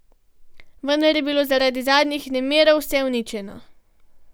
Vendar je bilo zaradi zadnjih nemirov vse uničeno.